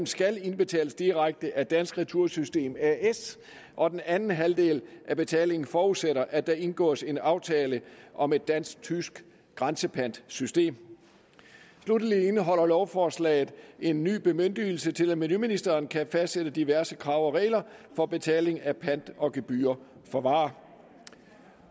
skal indbetales direkte af dansk retursystem as og den anden halvdel af betalingen forudsætter at der indgås en aftale om et dansk tysk grænsepantsystem sluttelig indeholder lovforslaget en ny bemyndigelse til at miljøministeren kan fastsætte diverse krav og regler for betaling af pant og gebyrer for varer